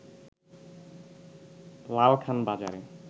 লালখান বাজারে